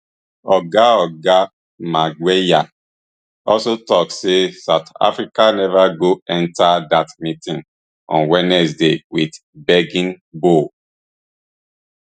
oga oga magwenya also tok say south africa neva go enta dat meeting on wednesday wit begging bowl